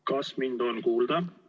Kas mind on kuulda?